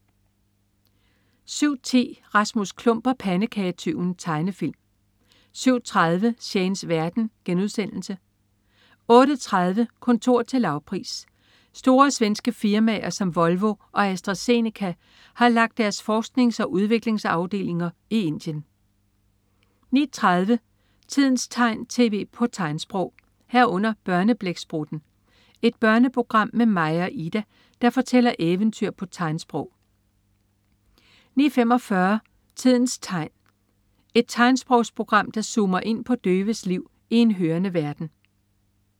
07.10 Rasmus Klump og pandekagetyven. Tegnefilm 07.30 Shanes verden* 08.30 Kontor til lavpris. Store svenske firmaer som Volvo og Astra-Zeneca har lagt deres forsknings- og udviklingsafdelinger i Indien 09.30 Tidens tegn, tv på tegnsprog 09.30 Børneblæksprutten. Et børneprogram med Maja og Ida, der fortæller eventyr på tegnsprog 09.45 Tidens tegn. Et tegnsprogsprogram, der zoomer ind på døves liv i en hørende verden